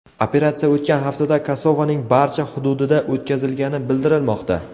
Operatsiya o‘tgan haftada Kosovaning barcha xududida o‘tkazilgani bildirilmoqda.